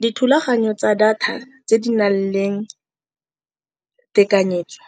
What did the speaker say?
Dithulaganyo tsa data tse di nang le tekanyetso